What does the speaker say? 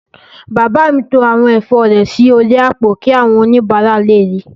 Bàbá mi to àwọn ẹ̀fọ́ rẹ̀ sí orí àpò kí àwọn oníbàárà lè ríi